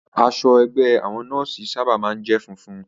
Aṣọ ẹgbẹ́ àwọn nọ́ọ̀sì sábà máa ń jẹ́ funfun